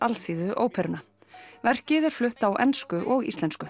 Alþýðuóperuna verkið er flutt á ensku og íslensku